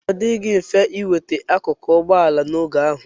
Ọ dịghị mfe inweta akụkụ ụgbọ ala n'oge ahụ.